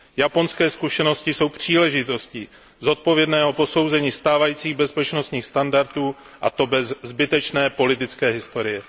Japonské zkušenosti jsou příležitostí pro zodpovědné posouzení stávajících bezpečnostních standardů, a to bez zbytečné politické historie.